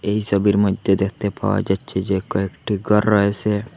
এই সবির মইধ্যে দেখতে পাওয়া যাচ্ছে যে কয়েকটি ঘর রয়েসে।